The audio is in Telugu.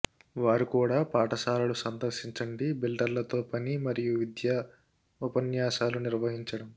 వారు కూడా పాఠశాలలు సందర్శించండి బిల్డర్ల తో పని మరియు విద్యా ఉపన్యాసాలు నిర్వహించడం